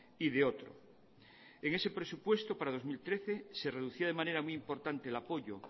y de otro en ese presupuesto para dos mil trece se reducía de manera muy importante el apoyo